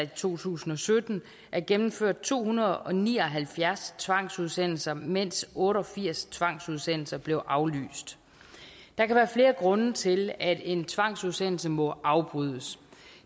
to tusind og sytten er gennemført to hundrede og ni og halvfjerds tvangsudsendelser mens otte og firs tvangsudsendelser blev aflyst der kan være flere grunde til at en tvangsudsendelse må afbrydes